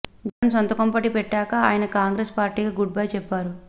జగన్ సొంతకుంపటి పెట్టాక ఆయన కాంగ్రెసు పార్టీకి గుడ్ బై చెప్పారు